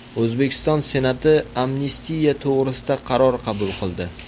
O‘zbekiston Senati amnistiya to‘g‘risida qaror qabul qildi.